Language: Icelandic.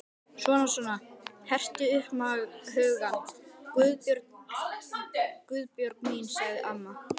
Svona svona, hertu upp hugann, Guðbjörg mín sagði amma.